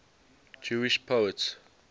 jewish poets